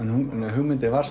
hugmyndin var